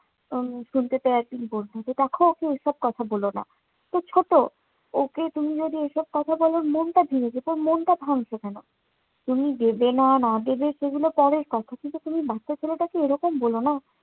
উম শুনতে পেয়ে বলতো যে, দেখো ওকে এসব কথা বলো না, ও ছোট। ওকে তুমি যদি এসব কথা বলো ওর মনটা ভেঙে যাবে। ওর মনটা ভাঙছো কেন? তুমি দেবে না, না দেবে সেগুলো পরের কথা। কিন্তু বাচ্চা ছেলেটাকে এরকম বলো না।